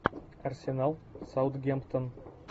арсенал саутгемптон